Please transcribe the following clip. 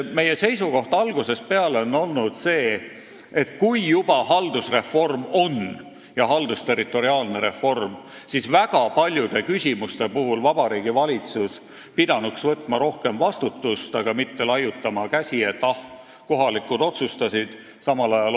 Meie seisukoht on algusest peale olnud, et kui juba haldusreform ja haldusterritoriaalne reform on, siis pidanuks paljude küsimuste puhul Vabariigi Valitsus võtma rohkem vastutust, aga mitte laiutama käsi, et kohalikud otsustasid.